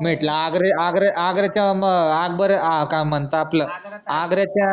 म्हंटल आग्रा आग्रा आग्राच्या म अकबर अं का म्हनता आपलं आगऱ्याच्या